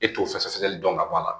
E t'o fɛ sɛgɛsɛgɛli dɔn ka bɔ a la